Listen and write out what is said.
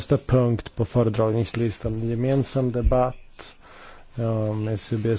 Panie te to matki i żony przetrzymywanych w więzieniu opozycjonistów.